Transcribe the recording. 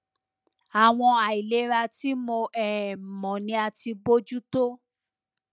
àwọn àìlera tí mo um mọ ni a ti bojú tó